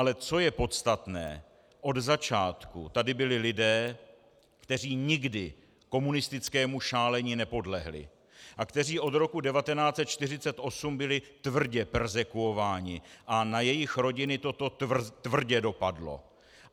Ale co je podstatné - od začátku tady byli lidé, kteří nikdy komunistickému šálení nepodlehli a kteří od roku 1948 byli tvrdě perzekvováni a na jejich rodiny toto tvrdě dopadlo.